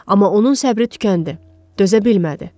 Amma onun səbri tükəndi, dözə bilmədi.